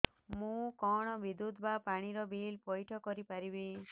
ମୁ କଣ ବିଦ୍ୟୁତ ବା ପାଣି ର ବିଲ ପଇଠ କରି ପାରିବି